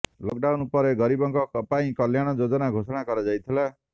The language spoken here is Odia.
ଲକ୍ଡାଉନ୍ ପରେ ଗରିବଙ୍କ ପାଇଁ କଲ୍ୟାଣ ଯୋଜନା ଘୋଷଣା କରାଯାଇଥିଲା